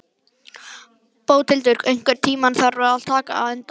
Bóthildur, einhvern tímann þarf allt að taka enda.